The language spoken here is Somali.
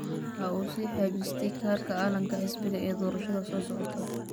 Waxa uu sii xajistay kaadhka calanka xisbiga ee doorashada soo socota